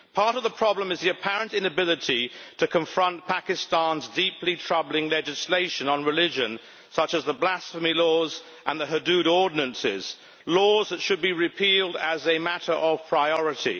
Part of the problem is the apparent inability to confront Pakistan's deeply troubling legislation on religion, such as the blasphemy laws and the Hudood Ordinances laws that should be repealed as a matter of priority.